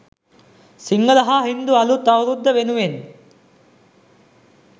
සිංහල හා හින්දු අලුත් අවුරුද්ද වෙනුවෙන්